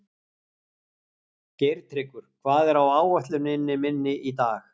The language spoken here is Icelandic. Geirtryggur, hvað er á áætluninni minni í dag?